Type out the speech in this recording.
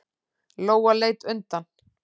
Lóa leit undan.